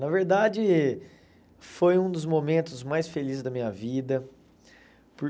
Na verdade, foi um dos momentos mais felizes da minha vida. Por